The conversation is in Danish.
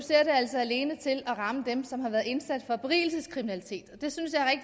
det altså alene til at ramme dem som har været indsat for berigelseskriminalitet det synes